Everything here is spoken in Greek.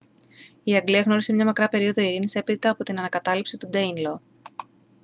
η αγγλία γνώρισε μια μακρά περίοδο ειρήνης έπειτα από την ανακατάληψη του ντέινλο